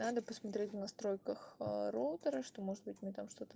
надо посмотреть в настройках роутера что может быть у меня там что-то